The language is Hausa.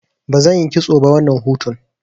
Bazan yi kitso ba wannan hutun.